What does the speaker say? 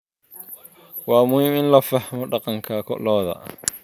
Waa muhiim in la fahmo dhaqanka lo'da.